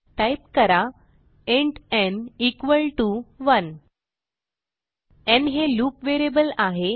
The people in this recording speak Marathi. टाईप करा इंट न् इक्वॉल टीओ 1 न् हे लूप व्हेरिएबल आहे